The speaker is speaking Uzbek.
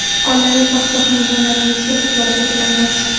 oilaviy baxt va xonadonlaringizga qut-baraka tilaymiz.